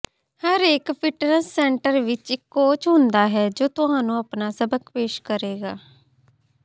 ਹਰੇਕ fitness centre ਵਿਚ ਇਕ ਕੋਚ ਹੁੰਦਾ ਹੈ ਜੋ ਤੁਹਾਨੂੰ ਆਪਣਾ ਸਬਕ ਪੇਸ਼ ਕਰੇਗਾ